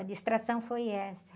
A distração foi essa.